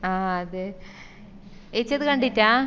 ആഹ് അത് ഏച്ചി അത് കണ്ടിറ്റ്ലാ